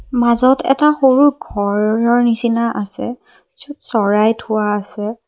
মাজত এটা সৰু ঘৰৰ নিচিনা আছে য'ত চৰাই থোৱা আছে।